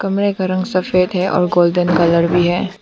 कमरे का रंग सफेद है और गोल्डन कलर भी है।